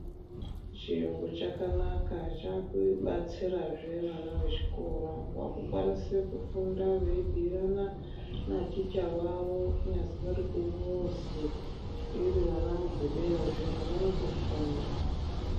Chiyungu chakanaka. Chakubatsirazve nevana vechikora vakukwanise kufunda veibhuirana naticha wavo kunyazi vari kumuzi iri anamugobera zviyana vanotofunda.